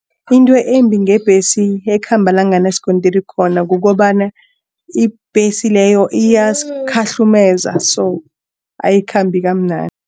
Into embi ngebhesi ekhamba la kunganasikontiri khona kukobana ibhesi leyo iyasikhahlumeza so ayikhambi kamnandi.